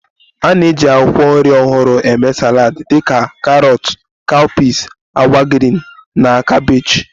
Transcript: A na-eji akwụkwọ nri ọhụrụ eme salad dị ka karọt, cowpeas, agwa green na kabeeji wdg